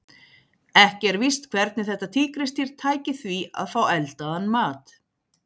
Ekki er víst hvernig þetta tígrisdýr tæki því að fá eldaðan mat.